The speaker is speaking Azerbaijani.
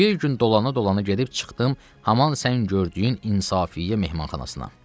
Bir gün dolana-dolana gedib çıxdım haman sən gördüyün İnsafiyə mehmanxanasına.